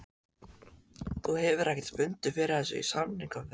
Þú hefur ekkert fundið fyrir þessu í samningaviðræðum?